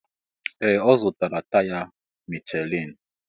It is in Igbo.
Ee! Ọ zụtara taya Michelin.